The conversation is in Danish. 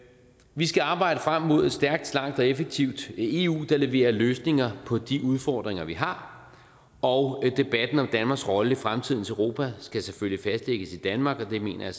vi skal arbejde frem mod et stærkt slankt og effektivt eu der leverer løsninger på de udfordringer vi har og debatten om danmarks rolle i fremtidens europa skal selvfølgelig fastlægges i danmark og det mener jeg